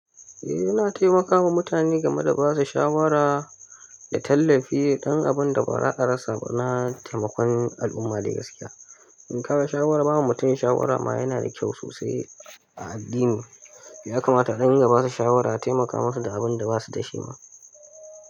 Eh, yana taimakawa mutane game da basu shawara, da tallafi ɗan abun da ba ra'arsa ba na taimakon al'umma da gaskiya. In ka ba shawara, bawa mutum shawara ma yana da kyau sosai a addini. Ya kamata a ɗan dunga basu shawara a taimaka musu da abun da basu da shi ma.